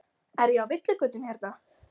Er ég á villigötum hérna?